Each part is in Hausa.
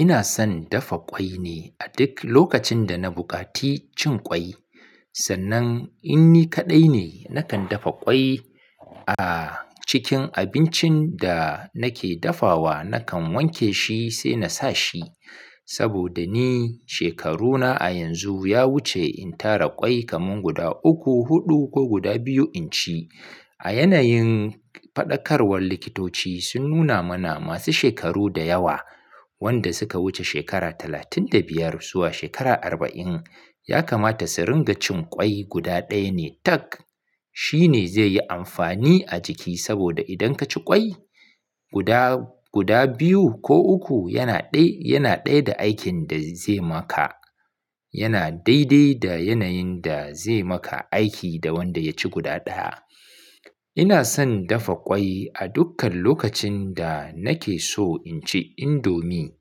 Ina son dafa ƙwai ne a duk lokacin da na buƙaci cin ƙwai. Sannan in ni kaɗai ne, nakan dafa ƙwai a cikin abincin da nake dafawa. Nakan wanke shi sai na sa shi saboda ni shekaruna a yanzu ya wuce in tara ƙwai kaman guda uku, huɗu ko guda biyu in ci. A yanayin faɗakarwar likitoci sun nuna mana masu shekaru da yawa wanda suka wuce shekara talatin da biyar zuwa shekara arba'in ya kamata su ringa cin ƙwai guda ɗaya ne tak. Shi ne zai yi amfani a jiki saboda idan kaci ƙwai guda, guda biyu ko uku yana ɗai, yana ɗai da aikin da zai maka. Yana daidai da yanayin da zai maka aiki da wanda ya ci guda ɗaya. Ina son dafa ƙwai a dukkan lokacin da nake so in ci indomie.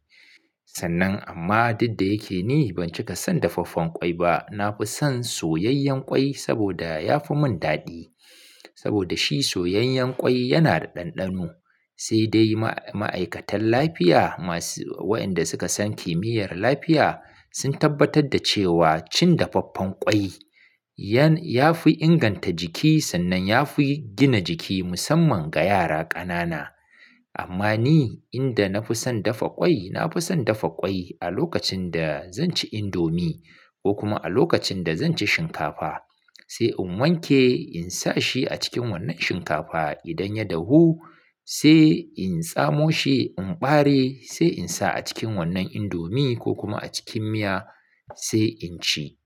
Sannan amma duk da yake ni ban cika son dafaffen ƙwai ba. Na fi son soyayyen ƙwai saboda ya fi mun daɗi. Saboda shi soyayyen ƙwai yana da ɗanɗano. Sai dai ma'aikatan lafiya masu waɗanda suka san kimiyyar lafiya sun tabbatar da cewa cin dafaffen ƙwai, ya fi inganta jiki sannan ya fi gina jiki musamman ga yara ƙanana. Amma ni inda na fi son dafa ƙwai, na fi son dafa ƙwai a lokacin da zan ci indomie ko kuma a lokacin da zan ci shinkafa. Sai in wanke in sa shi a cikin wannan shinkafa. Idan ya dahu sai in tsamo shi in ɓare sai in sa a cikin wannan indomie ko kuma a cikin miya sai in ci.